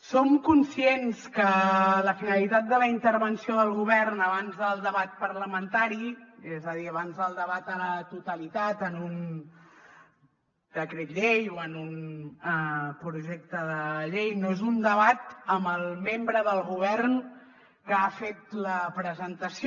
som conscients que la finalitat de la intervenció del govern abans del debat parlamentari és a dir abans del debat a la totalitat en un decret llei o en un projecte de llei no és un debat amb el membre del govern que ha fet la presentació